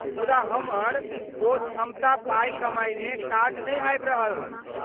मुदा, हमर ओ क्षमता पाई कमायमे काज नहि आबि रहल।